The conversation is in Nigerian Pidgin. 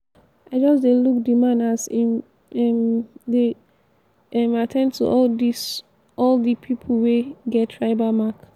i just dey look di man as im um dey um at ten d to all di to all di pipu wey get tribal mark.